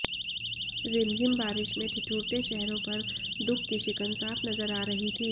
रिमझिम बारिश में ठिठुरते चेहरों पर दुख की शिकन साफ नजर आ रही थी